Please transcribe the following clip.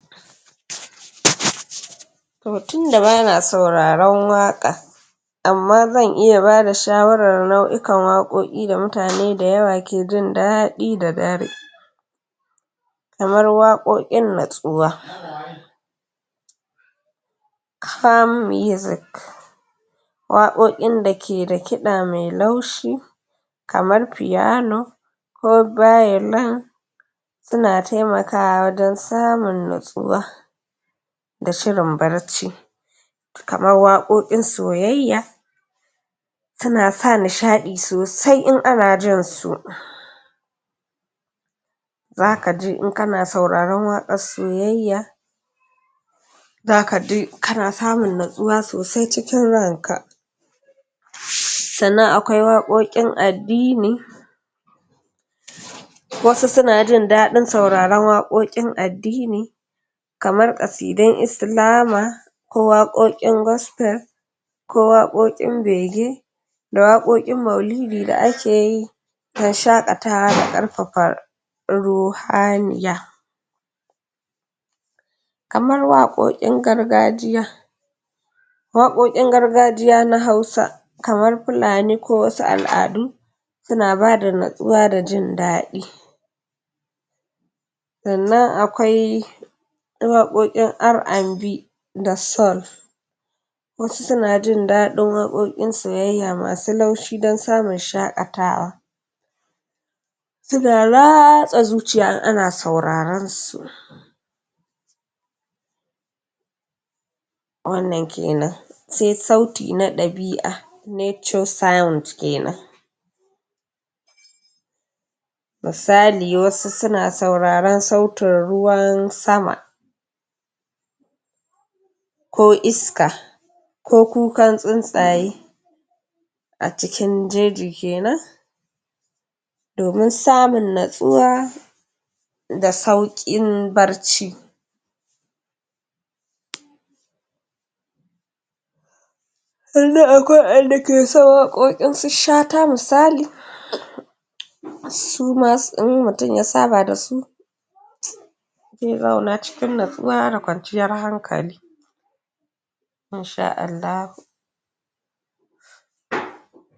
to tunda bana sauraron waƙa amma zan iya bada shawarar nau'ikan waƙoƙi da mutane da yawa ke jin daɗi da dare kamar waƙoƙin natsuwa calm music waƙoƙin da ke da kiɗa me laushi kamar piano ko violin suna temakawa wajen samun natsuwa da shririn barci kamar waƙoƙin soyayya suna sa nishaɗi sosai in ana jin su zakaji in kana sauraron waƙar soyayya zaka ji kana samun natsuwa sosai cikin ranka sannan akwai waƙoƙin addini wasu suna jin daɗin sauraron waƙoƙin addini kamar ƙasidun Islama ko waƙoƙin gospel ko waƙoƙin bege da waƙoƙin maulidi da ake yi don shaƙatawa da ƙarfafa ruhaniya kamar waƙoƙin gargajiya waƙoƙin gargajiya na hausa kamar fulani ko wasu al'adu suna bada natsuwa da jin daɗi sannan akwai waƙoƙin R&B da soul wasu suna jin daɗin waƙoƙin soyayya masu laushi don samun shaƙatawa suna ratsa zuciya in ana sauraren su wannan kenan se sauti na ɗabi'a nature sound kenan misali wasu suna sauraren sautin ruwan sama ko iska ko kukan tsuntsaye a cikin jeji kenan domin samun natsuwa da sauƙin barci sannan akwai wa'enda ke son waƙokin su Shata misali suma in mutum ya saba da su sun zauna cikin natsuwa da kwanciyar hankali in sha Allahu